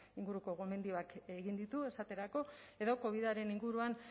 inguruko gomendioak egin ditu esaterako edo covidaren inguruan